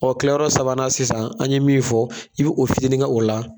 Ɔ kila yɔrɔ sabanan sisan an ye min fɔ, i bɛ o fitinin kɛ o la.